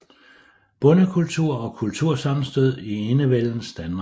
Bondekultur og kultursammenstød i enevældens Danmark